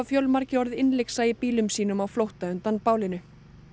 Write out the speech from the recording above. fjölmargir orðið innlyksa í bílum sínum á flótta undan bálinu